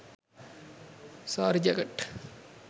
saree jacket